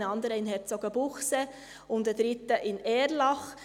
ein anderer in Herzogenbuchsee und ein dritter in Erlach.